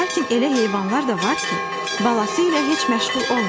Lakin elə heyvanlar da var ki, balası ilə heç məşğul olmur.